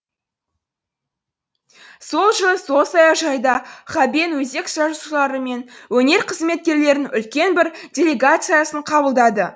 сол жылы сол саяжайда ғабең жазушылары мен өнер қызметкерлерінің үлкен бір делегациясын қабылдады